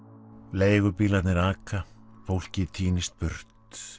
leigubílarnir aka fólkið tínist burt